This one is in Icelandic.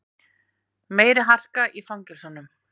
Meiri harka í fangelsunum